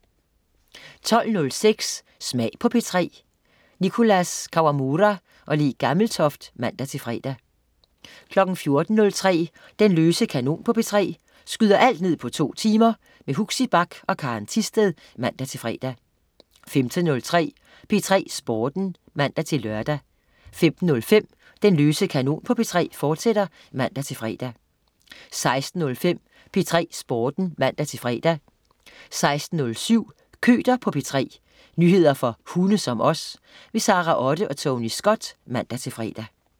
12.06 Smag på P3. Nicholas Kawamura/Le Gammeltoft (man-fre) 14.03 Den løse kanon på P3. Skyder alt ned på to timer. Huxi Bach og Karen Thisted (man-fre) 15.03 P3 Sporten (man-lør) 15.05 Den løse kanon på P3, fortsat (man-fre) 16.05 P3 Sporten (man-fre) 16.07 Køter på P3. Nyheder for hunde som os. Sara Otte og Tony Scott (man-fre)